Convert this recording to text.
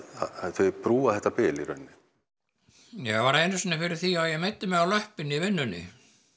þau brúa þetta bil í raun ég varð einu sinni fyrir því að ég meiddi mig á löpp í vinnunni